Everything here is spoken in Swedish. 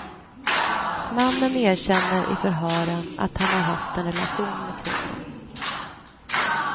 Mannen erkänner i förhören att han har haft en relation med kvinnan.